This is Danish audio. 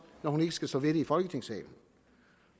når hun ikke skal stå ved det i folketingssalen